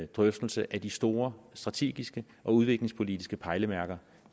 drøftelse af de store strategiske og udviklingspolitiske pejlemærker